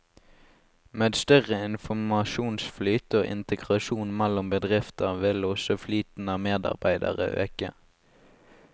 Med større informasjonsflyt og integrasjon mellom bedrifter vil også flyten av medarbeidere øke.